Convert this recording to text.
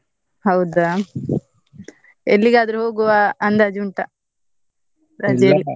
ಹೌದಾ! ಎಲ್ಲಿಗಾದ್ರೂ ಹೋಗುವ ಅಂದಾಜ್ ಉಂಟಾ ?